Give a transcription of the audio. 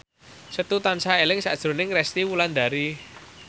Setu tansah eling sakjroning Resty Wulandari